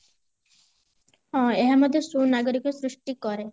ହଁ ଏହା ମଧ୍ୟ ସୁନାଗରିକ ସୃଷ୍ଟି କରେ